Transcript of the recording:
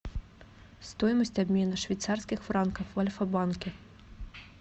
стоимость обмена швейцарских франков в альфа банке